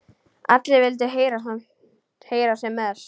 Allir vildu heyra sem mest.